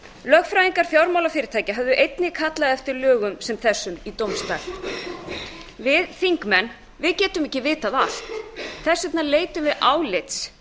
lögfræðingar fjármálafyrirtækja höfðu einnig kallað eftir lögum sem þessum í dóms stað við þingmenn getum ekki vitað allt þess vegna leitum við álits